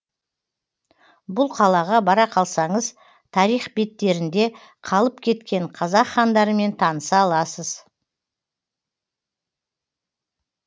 бұл қалаға бара қалсаңыз тарих беттерінде қалып кеткен қазақ хандарымен таныса аласыз